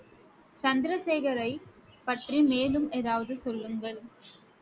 சந்திரசேகரை பற்றி மேலும் ஏதாவது சொல்லுங்கள்